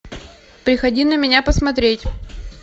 приходи на меня посмотреть